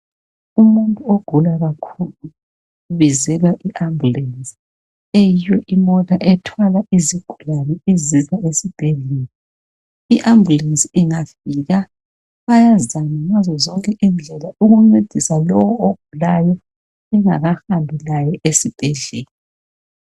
Umuntu ogula kakhulu ubizelwa i ambulance eyiyo imota ethwala izigulane izisa esibhedlela. Iambulance ingafika bayazama ngazo zonke indlela ukuncedisa lowo ogulayo bengakahambi laye esibhedlela.